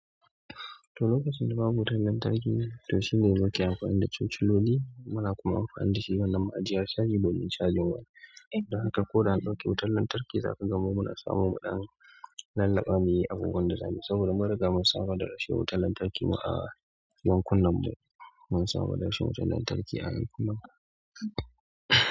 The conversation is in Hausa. To lokacin da babu wutan lantarki, to shine yanzu ake amfani da chochololi muna kuma amfani da shi ranan ma'ajiyar chagi domin chagin waje. Dan haka ko da aka ɗauke wutan lantarki zaka ga muna samo mu ɗan lallaɓa mai yi abubuwan da zamuyi saboda mun riga mun samu da rashin wutan lantarki a ayanku nan mu. Mun samu da rashin wutan lantarki a ayankuna.